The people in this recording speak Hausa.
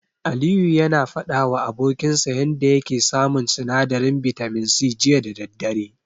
Aliyu yana faɗawa abokinsa yanda yake samun sinadarin bitamin C, jiya da daddare.